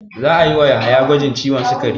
Za a yi wa Yahaya gwajin ciwon sikari.